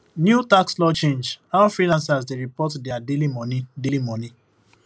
new tax law change how freelancers dey report their daily money daily money